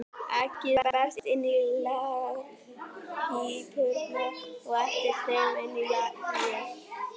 Eggið berst inn í legpípurnar og eftir þeim inn í legið.